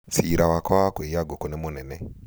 cira wakwa wa kũiya ngũkũ nĩ mũnene